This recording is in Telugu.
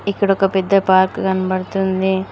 ఇక్కడ ఒక పెద్ద పార్క్ కనబడుతుంది.